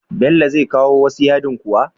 Gobe Bello zai kawo wasu yadin kuwa?